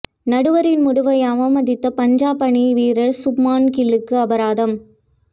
நடுவரின் முடிவை அவமதித்த பஞ்சாப் அணி வீரர் சுப்மான் கில்லுக்கு அபராதம்